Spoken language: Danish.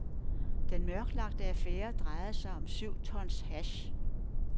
Den mørklagte affære drejer sig om syv tons hash.